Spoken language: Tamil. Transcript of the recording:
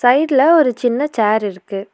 சைட்ல ஒரு சின்ன சேர் இருக்கு.